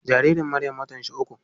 Jaririn Maryam watan shi uku yau.